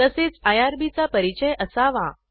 तसेच आयआरबी चा परिचय असावा